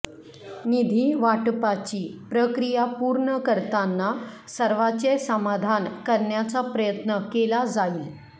निधी वाटपाची प्रक्रिया पूर्ण करताना सर्वाचे समाधान करण्याचा प्रयत्न केला जाईल